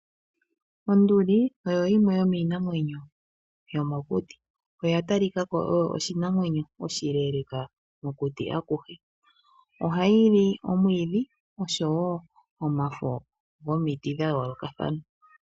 Onduli oyo yimwe yomiinamwenyo yomokuti, oya talika ko oyo oshinamwenyo oshileeleeka mokuti akuhe. Ohayi li omwiidhi osho wo omafo gomiti dhayoolokathana.